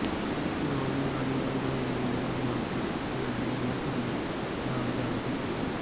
ਸ਼੍ਰੋਮਣੀ ਅਕਾਲੀ ਦਲ ਦੇ ਉਮੀਦਵਾਰ ਮਨਪ੍ਰੀਤ ਇਆਲੀ ਨੇ ਭਰੇ ਨਾਮਜ਼ਦਗੀ ਪੱਤਰ